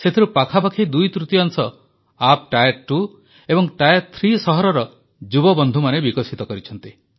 ସେଥିରୁ ପାଖାପାଖି ଦୁଇ ତୃତୀୟାଂଶ ଆପ୍ ଟାୟାର ଟୁ ଏବଂ ଟାୟାର ଥ୍ରୀ ସହରର ଯୁବବନ୍ଧୁମାନେ ବିକଶିତ କରିଛନ୍ତି